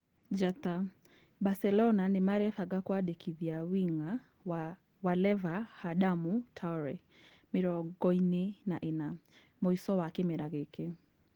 ( Njata) Baselona Nĩmarebanga kũandĩkithia wing'a wa Waleva Hadamu Taore, mĩrongoĩrĩ na ĩna, mũico wa kĩmera gĩkĩ.